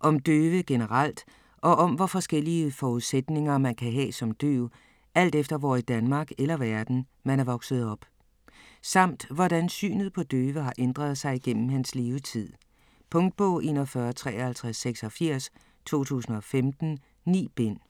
Om døve generelt og om hvor forskellige forudsætninger man kan have som døv alt efter hvor i Danmark eller verden, man er vokset op. Samt hvordan synet på døve har ændret sig igennem hans levetid. Punktbog 415386 2015. 9 bind.